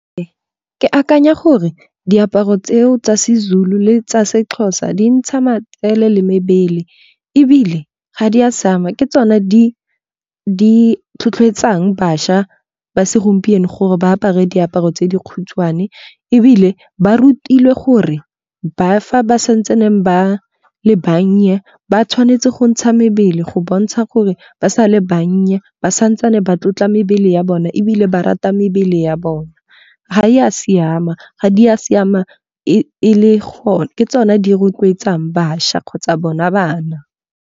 Ee, ke akanya gore diaparo tseo tsa Sezulu le tsa Sexhosa di ntsha matsele le mebele. Ebile ga di a siama ke tsone di tlhotlhetsang bašwa ba segompieno gore ba apare diaparo tse di khutshwane. Ebile ba rutilwe gore ba fa ba santsaneng ba le bannye, ba tshwanetse go ntsha mebele go bontsha gore ba sa le bannye ba santsane ba tlotla mebele ya bona ebile ba rata mebele ya bona. Ga e a siama ga di a siama Ke tsona tse di rotloetsang bašwa kgotsa bona bana.